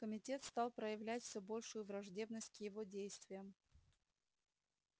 комитет стал проявлять все большую враждебность к его действиям